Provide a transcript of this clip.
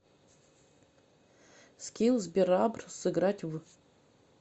скилл сберабр сыграть в